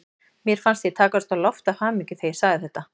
Mér fannst ég takast á loft af hamingju þegar ég sagði þetta.